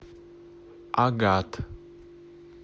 агат